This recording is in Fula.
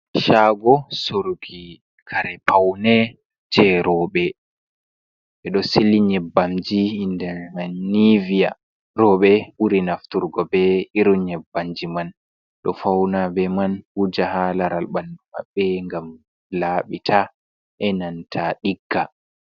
Chaago soruki kare paune je rooɓe. Ɓe ɗo sili nyebbamji nder man niviya. Roɓe muri nafturgo be irin nyebbamji man. Ɗo fauna be man, wuja haa laral ɓandu maɓɓe ngam laaɓita, e nanta ɗigga.